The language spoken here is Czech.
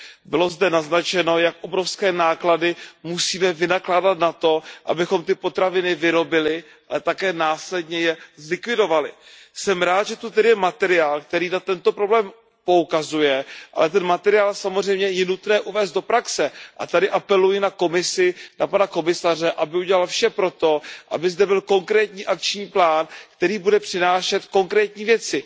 Bylo zde naznačeno, jak obrovské náklady musíme vynakládat na to, abychom ty potraviny vyrobili, ale také následně je zlikvidovali. Jsem rád, že to tedy je materiál, který na tento problém poukazuje, ale ten materiál samozřejmě je nutné uvést do praxe a tady apeluji na Komisi, na pana komisaře, aby udělal vše proto, aby zde byl konkrétní akční plán, který bude přinášet konkrétní věci.